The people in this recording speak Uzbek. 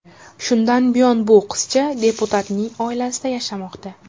Shundan buyon bu qizcha deputatning oilasida yashamoqda.